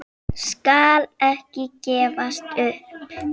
Skal ekki gefast upp.